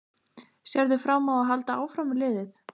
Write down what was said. Sérðu fram á að halda áfram með liðið?